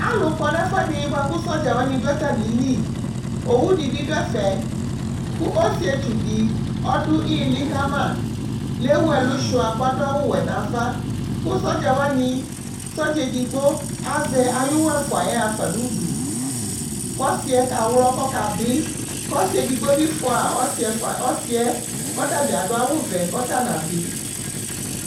alu kɔ nu ɛfuɛdi bua ku sɔdza wani du atami li owu di bi du ɛfɛ ku ɔsiétsu di ɔdu ili kama léwu ɛlu sua ka du awu wɛ nava ku sɔdza wani sɔdza édigbo azɛ ayu wɔ fua yɛ hafa nu udu kɔ ɔsiɛ ka wlɔ kɔ kabi kɔ ɔsié digbo bi fua ɔsiɛ kɔ tabi adu awu vɛ kɔ ta na bi